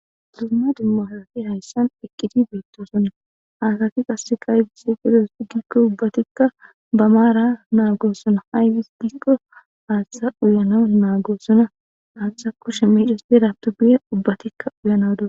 Duma duma asati haysan eqidi betosonaaybis ha asati ayi othizogiko Hatha uyanas nagosona hathan kushe mecetida guys ubbatika uyas